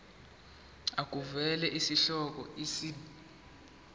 makuvele isihloko isib